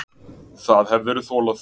Það hefðirðu þolað.